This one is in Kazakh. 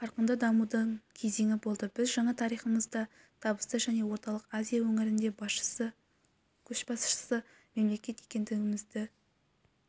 қарқынды дамудың кезеңі болды біз жаңа тарихымызда табысты және орталық азия өңірінде көшбасшысы мемлекет екендігімізді